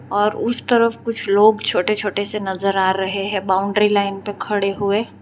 और उस तरफ कुछ लोग छोटे छोटे से नजर आ रहे है बाउंड्री लाइन पे खड़े हुए।